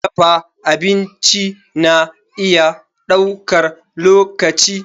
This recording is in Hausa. Dafa abinci na iya ɗaukar lokaci.